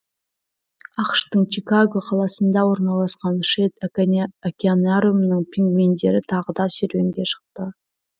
ақш тың чикаго қаласында орналасқан шедд океанариумының пингвиндері тағы да серуенге шықты